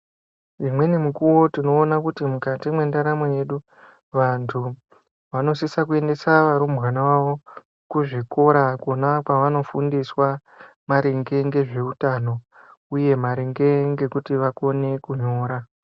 Imweni mukuwo tinoona kuti mukati mwendaramo yedu vantu vanosisa kuendesa varumbwana vavo kuzvikora kunova kwavanoundiswa maringe ngezvekutauno uye maringe ngekuti vakone kunyora.